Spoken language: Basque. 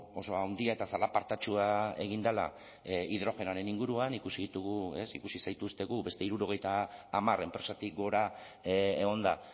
oso handia eta zalapartatsua egin dela hidrogenoaren inguruan ikusi ditugu ez ikusi zaituztegu beste hirurogeita hamar enpresatik gora egon da